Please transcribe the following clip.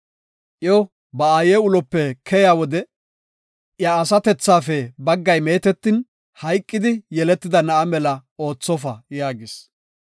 Iyo ba aaye ulope keyiya wode I asatethafe baggay meetetin, hayqidi yeletida na7a mela oothofa” yaagis.